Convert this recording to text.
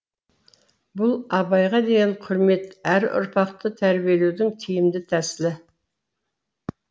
бұл абайға деген құрмет әрі ұрпақты тәрбиелеудің тиімді тәсілі